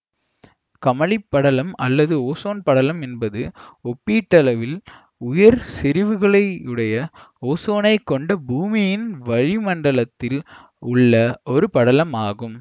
கமழி படலம் அல்லது ஓசோன் படலம் என்பது ஒப்பீட்டளவில் உயர் செறிவுகளையுடைய ஓசோனைக் கொண்ட பூமியின் வளிமண்டலத்தில் உள்ள ஒரு படலம் ஆகும்